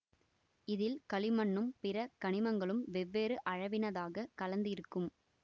இதில் களிமண்ணும் பிற கனிமங்களும் வெவ்வேறு அளவினதாகக் கலந்து இருக்கும்